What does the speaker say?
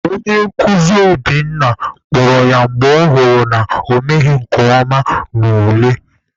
Onye nkuzi Obinna kpọrọ ya mgbe ọ hụrụ na ọ emeghị nke ọma n'ule.